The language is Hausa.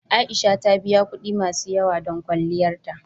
A'isha ta biya kuɗi masu yawa don kwalliyar ta.